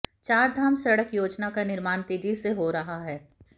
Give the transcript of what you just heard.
चारधाम सड़क योजना का निर्माण तेजी से हो रहा है